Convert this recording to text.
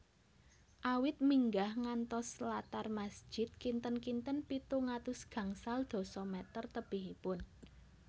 Awit minggah ngantos latar masjid kinten kinten pitung atus gangsal dasa meter tebihipun